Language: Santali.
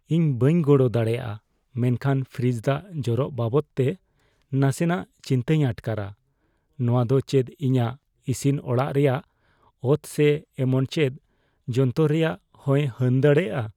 ᱤᱧ ᱵᱟᱹᱧ ᱜᱚᱲᱚ ᱫᱟᱲᱮᱭᱟᱜᱼᱟ ᱢᱮᱱᱠᱷᱟᱱ ᱯᱷᱨᱤᱡᱽ ᱫᱟᱜ ᱡᱚᱨᱚᱜ ᱵᱟᱵᱚᱫᱛᱮ ᱱᱟᱥᱮᱱᱟᱜ ᱪᱤᱱᱛᱟᱹᱧ ᱟᱴᱠᱟᱨᱟ ᱼᱱᱚᱶᱟ ᱫᱚ ᱪᱮᱫ ᱤᱧᱟᱹᱜ ᱤᱥᱤᱱ ᱚᱲᱟᱜ ᱨᱮᱭᱟᱜ ᱚᱛ ᱥᱮ ᱮᱢᱚᱱ ᱪᱮᱫ ᱡᱚᱱᱛᱚᱨ ᱨᱮᱭᱟᱜ ᱦᱚᱸᱭ ᱦᱟᱹᱱ ᱫᱟᱲᱮᱭᱟᱜᱼᱟ ?